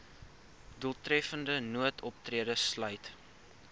doeltreffende noodoptrede sluit